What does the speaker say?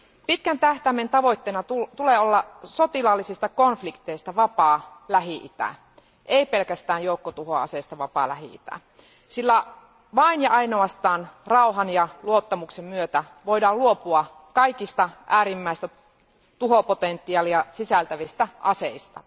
Pitkän tähtäimen tavoitteena tulee olla sotilaallisista konflikteista vapaa Lähi itä, ei pelkästään joukkotuhoaseista vapaa Lähi itä, sillä vain ja ainoastaan rauhan ja luottamuksen myötä voidaan luopua kaikista äärimmäistä tuhopotentiaalia sisältävistä aseista.